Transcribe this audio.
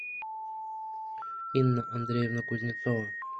инна андреевна кузнецова